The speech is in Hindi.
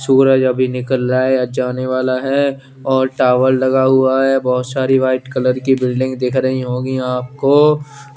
सूरज अभी निकल रहा है या जाने वाला है और टावर लगा हुआ है बहोत सारी व्हाइट कलर की बिल्डिंग दिख रही होंगी आपको।